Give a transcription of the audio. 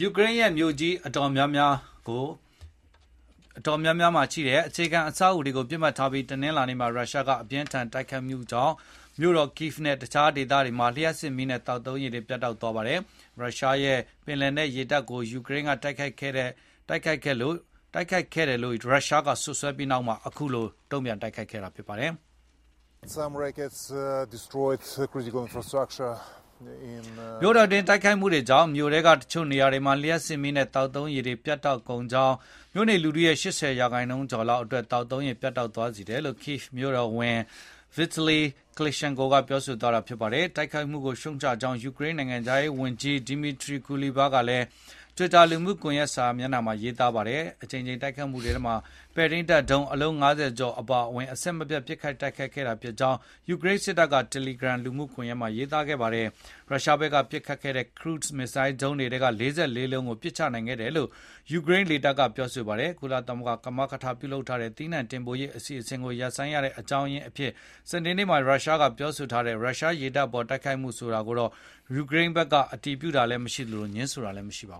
ူကရိန်း မြို့ကြီး အတော်များများရဲ့ အရေးကြီးတဲ့ အခြေခံ အဆောက်အအုံတွေကို ပစ်မှတ်ထားပြီး တနလာၤနေ့မှာ ရုရှားက အပြင်းအထန် တိုက်ခိုက်မှုကြောင့် မြို့တော် Kyiv နဲ့ တခြားဒေသတွေမှာ လျှပ်စစ်မီးနဲ့ သောက်သုံးရေ ပြတ်တောက် သွားပါတယ်။ ရုရှားရဲ့ ပင်လယ်နက် ရေတပ်ကို ယူကရိန်းက တိုက်ခိုက်ခဲ့တယ်လို့ ရုရှားက စွပ်စွဲခဲ့ပြီး နောက်တနေ့မှာ တိုက်ခိုက်တာ ဖြစ်ပါတယ်။ မြို့တော်အတွင်း တိုက်ခိုက်မှုတွေကြောင့် မြို့ထဲက တချို့နေရာတွေမှာ လျှပ်စစ်မီးနဲ့ သောက်သုံးရေ ပြတ်တောက်ကုန်ကြောင်း၊ မြို့နေ လူထု ၈၀ ရာခိုင်နှုန်းကျော်အတွက် သောက်သုံးရေ ပြတ်တောက်သွားကြောင်း Kyiv မြို့တော်ဝန် Vitali Klitschko က ပြောတာပါ။ တိုက်ခိုက်မှုကို ရှုတ်ချကြောင်း ယူကရိန်း နိုင်ငံခြားရေးဝန်ကြီး Dmytro Kuleba ကလည်း Twitter လူမှုကွန်ရက်မှာ ရေးပါတယ်။ အကြိမ်ကြိမ် တိုက်ခိုက်မှုတွေထဲမှာ ပဲ့ထိန်းတပ် ဒုံးအလုံး ၅၀ ကျော် အပါအဝင် အဆက်မပြတ် ပစ်ခတ် တိုက်ခိုက်ခဲ့တာ ဖြစ်ကြောင်း ယူကရိန်း စစ်တပ်က Telegram လူမှုကွန်ရက်မှာ ရေးသားခဲ့ပါတယ်။ ရုရှားဘက်က ပစ်ခတ်ခဲ့တဲ့ Cruise မစ်ဇိုင်းဒုံး ၄၄ လုံးကိုပစ်ချနိုင်ခဲ့တယ်လို့လည်း ယူကရိန်း လေတပ်ကပြောဆိုပါတယ်။ ကုလသမဂ္ဂ ကမကထ လုပ်ထားတဲ့ သီးနှံ တင်ပို့ရေး အစီအစဉ်ကို ရပ်ဆိုင်းရတဲ့ အကြောင်းရင်း အဖြစ် စနေနေ့မှာ ရုရှားက ပြောဆိုထားတဲ့ ရုရှား ရေတပ် အပေါ် တိုက်ခိုက်မှု ဆိုတာကိုတော့ ယူကရိန်းဘက်က အတည်ပြုတာလည်း မရှိသလို ငြင်းဆိုထားတာလည်း မရှိပါ